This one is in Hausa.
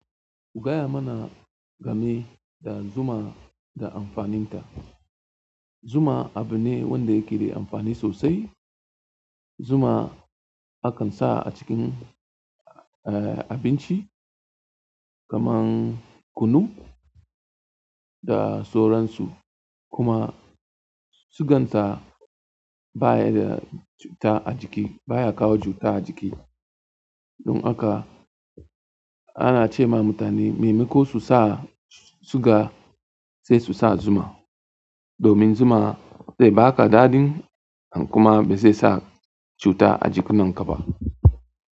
Gaya mana game da zuma da amfaninta. Zuma abu ne wanda yake da amfani sosai. Zuma akan sa a cikin, eh, abinci kamar kunu da sauransu. Kuma suganta baya da cuta ajiki, baya kawo cuta ajiki. Don haka ana ce ma mutane maimako su sa suga sai su sa zuma domin zuma zai ba ka dadin kuma bai sa cuta ajikin kaba.